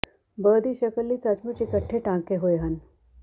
ਬ ਦੀ ਸ਼ਕਲ ਲਈ ਸੱਚਮੁੱਚ ਇਕੱਠੇ ਟਾਂਕੇ ਹੋਏ ਹਨ